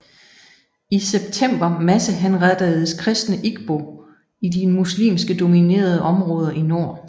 I september masshenrettedes kristne igbo i de muslimsk dominerede områder i nord